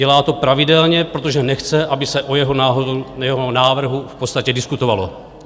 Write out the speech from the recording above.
Dělá to pravidelně, protože nechce, aby se o jeho návrhu v podstatě diskutovalo.